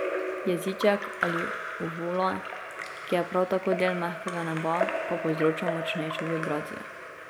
Jeziček ali uvula, ki je prav tako del mehkega neba, pa povzroča močnejšo vibracijo.